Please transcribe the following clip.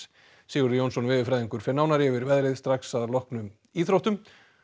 Sigurður Jónsson veðurfræðingur fer nánar yfir veðrið strax að loknum íþróttum